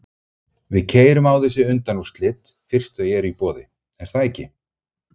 Við keyrum á þessi undanúrslit fyrst þau eru í boði, er það ekki?